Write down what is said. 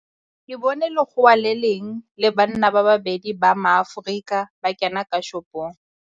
Ke bone lekgowa le le leng le banna ba babedi ba Maaforika ba kena ka shopong.